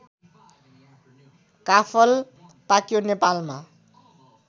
काफल पाक्यो नेपालमा